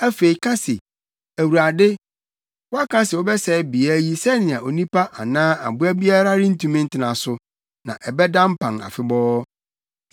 Afei ka se, ‘ Awurade, woaka se wobɛsɛe beae yi sɛnea onipa anaa aboa biara rentumi ntena so; na ɛbɛda mpan afebɔɔ.’